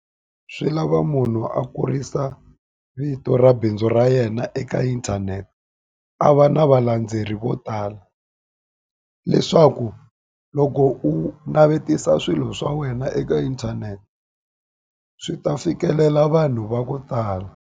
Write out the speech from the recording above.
Swi lava munhu a kurisa vito ra bindzu ra yena eka inthanete, a va na valandzeri vo tala. Leswaku loko u navetisa swilo swa wena eka inthanete, swi ta fikelela vanhu va ku tala.